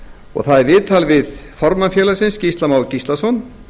og það er viðtal við formann félagsins gísla má gíslason